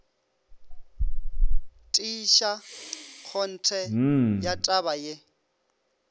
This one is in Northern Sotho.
tiiša kgonthe ya taba ye